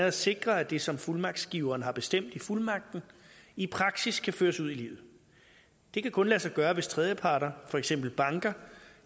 at sikre at det som fuldmagtsgiveren har bestemt i fuldmagten i praksis kan føres ud i livet det kan kun lade sig gøre hvis tredjeparter for eksempel banker